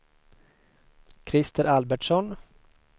Krister Albertsson